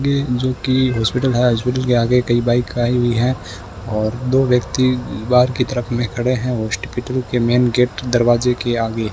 जो की हॉस्पिटल है हॉस्पिटल के आगे कई बाइक खड़ी हुई है और दो व्यक्ति बाहर की तरफ में खड़े हैं हॉस्पिटल के मेन गेट दरवाजे के आगे।